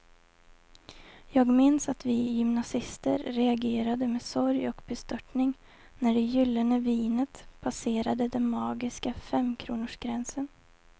Jag minns att vi gymnasister reagerade med sorg och bestörtning när det gyllene vinet passerade den magiska femkronorsgränsen.